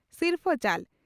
ᱥᱤᱨᱯᱷᱟᱹ ᱪᱟᱞ